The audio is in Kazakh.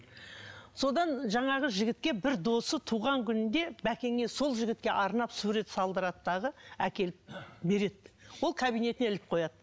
содан жаңағы жігітке бір досы туған күнінде бәкеңе сол жігітке арнап сурет салдырады дағы әкеліп береді ол кабинетіне іліп қояды